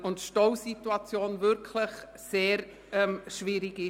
Die Stausituation ist dort wirklich sehr schwierig.